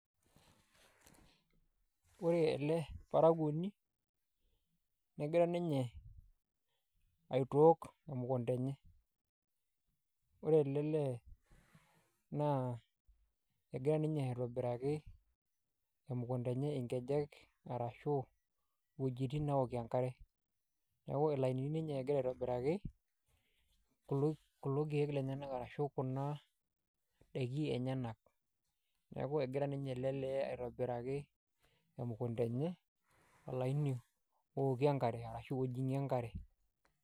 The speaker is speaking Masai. Ore ele parakuoni, negira ninye aitook emukunda enye. Ore ele lee naa, egira ninye aitobiraki emukunda enye ingejek arashu iwuejiting naokie enkare. Neeku ilainini ninye egira aitobiraki, kulo keek lenyanak arashu kuna daiki enyanak. Neeku egira ninye ele lee aitobiraki emukunda enye, olaini ookie enkare, arashu ojing'ie enkare.